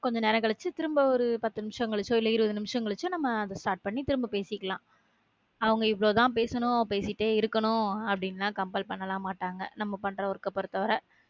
கொஞ்ச நேரம் கழிச்சு திரும்ப ஒரு` பத்து நிமிஷம் கழிச்சு இல்ல ஒரு இருப்பது நிமிஷம் கழிச்சு நம்ம அத start பண்ணி நம்ம திரும்ப பேசிக்கலாம் அவங்க இவ்வளவுதான் பேசணும் பேசிட்டு தான் இருக்கணும் அப்படிலாம் compel பண்ணலாம் மாட்டாங்க நம்ம பன்ற work பொறுத்தவர